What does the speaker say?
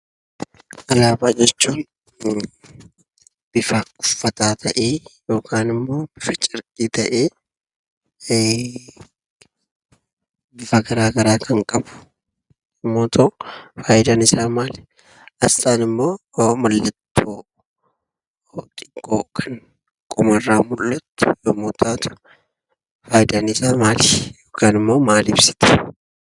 Alaabaa jechuun bifa uffataa ta'ee yookaan immoo bifa carqii ta'ee bifa garaa garaa kan qabu yommuu ta'u, faayidaan isaa maali? Asxaan immoo mallattoo xiqqoo kan qomarraa mul'attu yommuu taatu, faayidaan isaa maali yookaan immoo maal ibsiti?